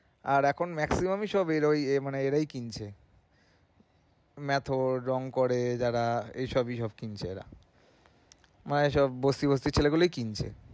আর এখন maximum এ সব এরাই কিনছে মেথর, রঙ করে যারা এসবই এসব কিনছে এরা আর সন বস্তি বস্তি ছেলেপেলে কিনছে